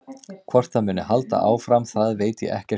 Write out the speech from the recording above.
Hvort það muni halda áfram það veit ég ekkert um.